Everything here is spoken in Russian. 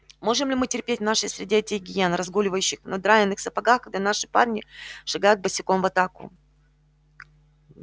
можем ли мы терпеть в нашей среде этих гиен разгуливающих в надраенных сапогах когда наши парни шагают босиком в атаку